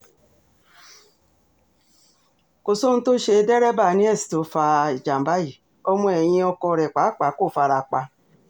kò sóhun tó ṣe dẹ́rẹ́bà niels tó fa ìjàm̀bá yìí ọmọ ẹ̀yìn ọkọ rẹ̀ pàápàá kò fara pa